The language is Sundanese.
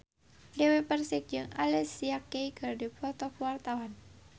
Dewi Persik jeung Alicia Keys keur dipoto ku wartawan